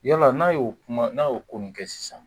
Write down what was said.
Yala n'a y'o kuma n'a y'o ko nin kɛ sisan